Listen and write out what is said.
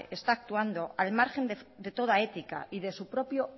está actuando al margen de toda ética y de su propio